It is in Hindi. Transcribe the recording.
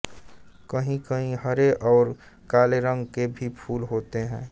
कहीं कहीं हरे और काले रंग के भी फूल होते हैं